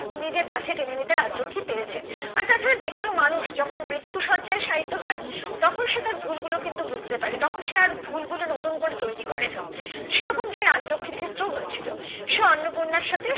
নিজের কাছে টেনে নিতে রাজলক্ষী পেরেছেন আর তাছাড়া যেকোনো মানুষ যখন মৃত্যু শয্যায় সাইতো হয় তখন সে তার ভুল গুলো কিন্তু বুঝতে পারে তখন সে আর ভুল গুলো নতুন করে তৈরি করে না সেরকম টাই রাজলক্ষীর ক্ষেত্রে ও হয়েছিল সে অন্নপূর্ণার সাথে